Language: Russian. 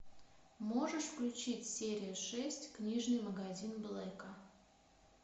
можешь включить серия шесть книжный магазин блэка